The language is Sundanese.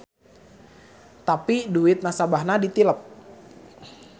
Tapi duit nasabahna ditilep.